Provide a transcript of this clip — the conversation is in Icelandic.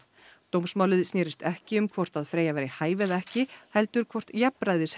dómsmálið snérist ekki um hvort Freyja væri hæf eða ekki heldur hvort jafnræðis